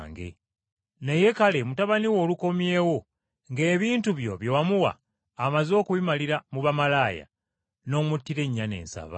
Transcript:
Naye kale mutabani wo olukomyewo ng’ebintu byo bye wamuwa amaze okubimalira mu bamalaaya, n’omuttira ennyana ensava.’